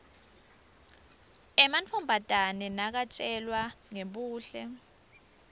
emantfombatane nakatjelwa ngebuhle